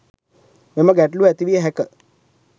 මෙම ගැටළුව ඇතිවිය හැක